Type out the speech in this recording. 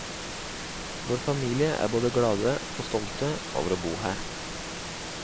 Vår familie er både glade og stolte over å bo her.